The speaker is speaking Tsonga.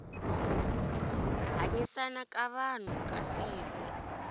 hanyisana ka vanhu ka siku